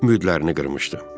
Ümidlərini qırmışdı.